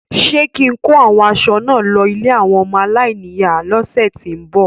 Ṣé kín-in kó àwọn aṣọ náà lọ ilé àwọn ọmọ aláìníyàá lọ́sẹ ti n bọ?